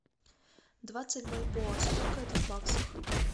двадцать бальбоа сколько это в баксах